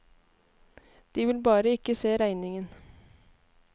De vil bare ikke se regningen.